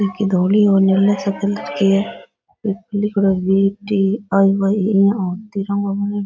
एक धोली और नीले से कलर की है इस्पे लिख रो है V T I Y E और तिरंगो बनो है।